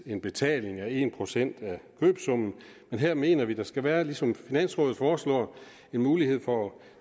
en betaling af en procent af købssummen men her mener vi at der skal være ligesom finansrådet foreslår en mulighed for at